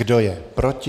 Kdo je proti?